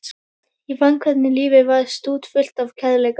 Ég fann hvernig lífið var stútfullt af kærleika.